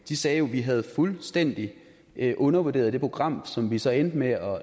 de sagde jo vi havde fuldstændig undervurderet det program som vi så endte med at